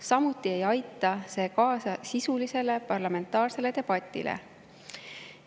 Samuti ei aita see kaasa sisulisele parlamentaarsele debatile.